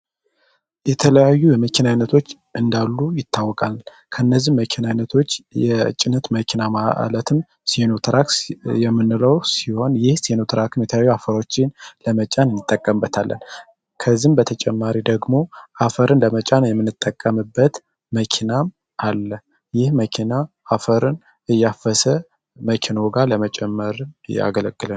የተለያዩ የመኪናይነቶች እንዳሉ ይታወቃል ከእነዚህ መኪናይነቶች የጭነት መኪና ማለትም ሴኖትራክስ የምንለው ሲሆን ይህ ሴኖትራክም የተያዩ አፈሮችን ለመጫን ይንጠቀምበታለን ። ከዚህም በተጨማሪ ደግሞ አፈርን ለመጫን የምንጠቀምበት መኪናም አለ። ይህ መኪና አፈርን እያፈሰ መኪኖ ጋር ለመጨመርን ያገለግላል።